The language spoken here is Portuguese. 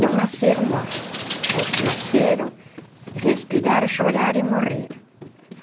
Não nasceram mortos, mas nasceram, respiraram, choraram e morreram.